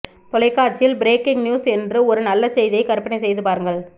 தொலைக்காட்சியில் breaking news என்று ஒரு நல்ல செய்தியை கற்பனைசெய்து பாருங்கள்